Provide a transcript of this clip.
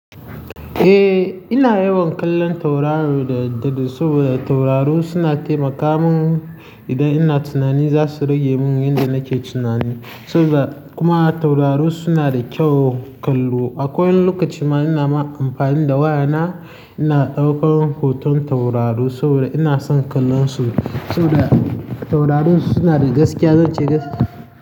Eh, ina yawan kallon tauraro da, da saboda tauraro suna taimaka mun idan ina tunani za su rage mun yanda nake tunani. Saboda kuma tauraro suna da kyau kallo. Akwai lokaci ma ina ma amfani da waya na, ina ɗaukar hoton tauraro saboda ina son kallon su. Saboda tauraro suna da gaskiya, zan ce gaskiya.